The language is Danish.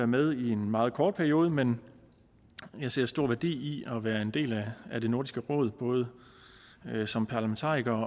med i en meget kort periode men jeg ser stor værdi i at være en del af nordisk råd både som parlamentariker